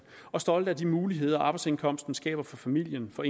og stolte af de muligheder som arbejdsindkomsten skaber for familien for